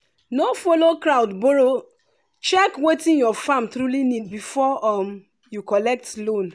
no follow crowd borrow check wetin your farm truly need before um you collect loan.